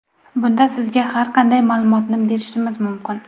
Bunda sizga har qanday ma’lumotni berishimiz mumkin.